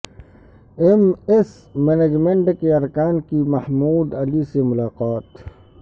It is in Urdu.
ایم ایس مینجمنٹ کے ارکان کی محمود علی سے ملاقات